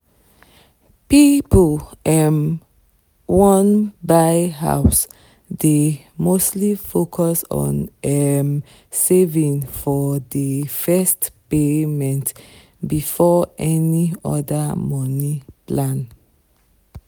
people um wan buy house dey mostly focus on um saving for the first payment before any other money land